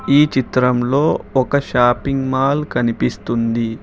ఈ చిత్రంలో ఒక షాపింగ్ మాల్ కనిపిస్తుంది.